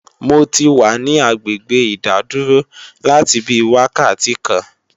Mo ti wà ní agbègbè ìdádúró láti bí wákàtí kan